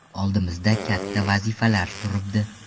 Oldimizda katta vazifalar turibdi.